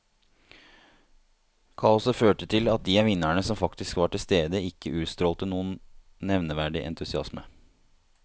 Kaoset førte til at de av vinnerne som faktisk var tilstede ikke utstrålte noen nevneverdig entusiasme.